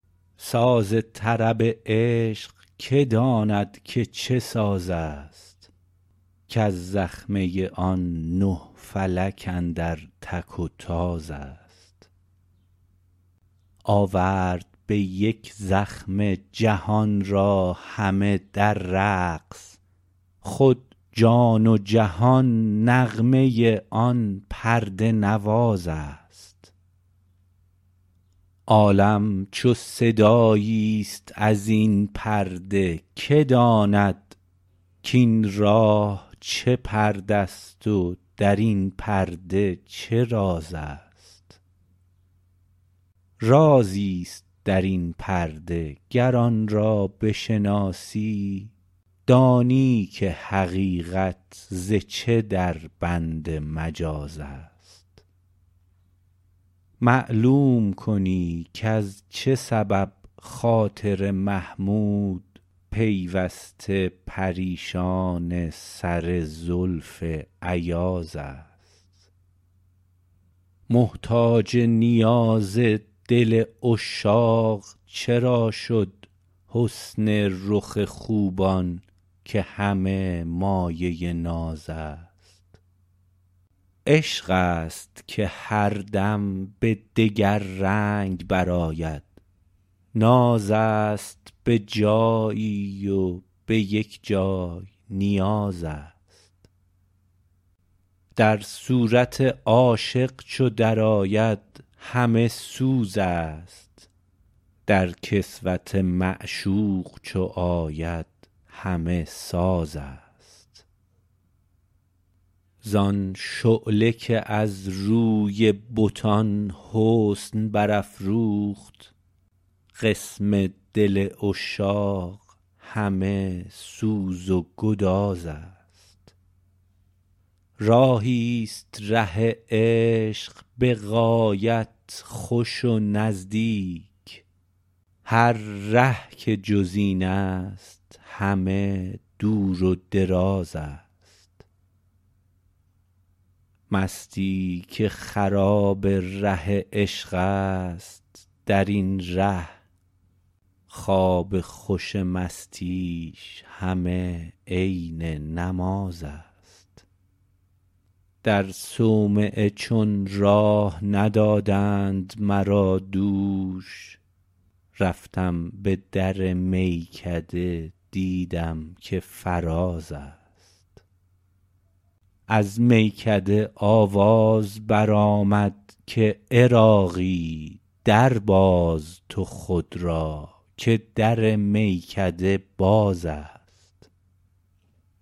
ساز طرب عشق که داند که چه ساز است کز زخمه آن نه فلک اندر تک و تاز است آورد به یک زخمه جهان را همه در رقص خود جان و جهان نغمه آن پرده نواز است عالم چو صدایی است ازین پرده که داند کین راه چه پرده است و درین پرده چه راز است رازی است درین پرده گر آن را بشناسی دانی که حقیقت ز چه دربند مجاز است معلوم کنی کز چه سبب خاطر محمود پیوسته پریشان سر زلف ایاز است محتاج نیاز دل عشاق چرا شد حسن رخ خوبان که همه مایه ناز است عشق است که هر دم به دگر رنگ برآید ناز است بجایی و به یک جای نیاز است در صورت عاشق چو درآید همه سوز است در کسوت معشوق چو آید همه ساز است زان شعله که از روی بتان حسن برافروخت قسم دل عشاق همه سوز و گداز است راهی است ره عشق به غایت خوش و نزدیک هر ره که جز این است همه دور و دراز است مستی که خراب ره عشق است درین ره خواب خوش مستیش همه عین نماز است در صومعه چون راه ندادند مرا دوش رفتم به در میکده دیدم که فراز است از میکده آواز برآمد که عراقی درباز تو خود را که در میکده باز است